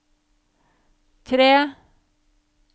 tre